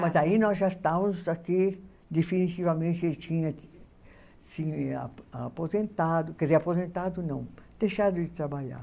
Mas aí nós já estávamos aqui, definitivamente ele tinha se aposentado, quer dizer, aposentado não, deixado de trabalhar.